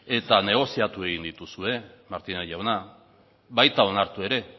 eta negoziatu egin dituzue martínez jauna baita onartu ere